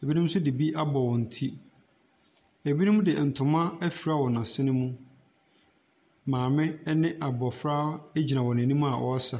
ɛbinom nso de bi abɔ wɔn ti. Ɛbinom de ntoma afira wɔn asene mu. Maame ɛne abɔfra ɛgyina wɔn anim a ɔɔsa.